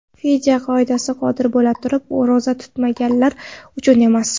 Fidya qoidasi qodir bo‘la turib ro‘za tutmaganlar uchun emas.